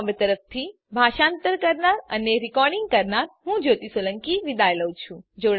iit Bombay તરફથી spoken tutorial project માટે ભાષાંતર કરનાર હું જ્યોતી સોલંકી વિદાય લઉં છું